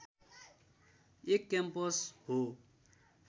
एक क्याम्पस हो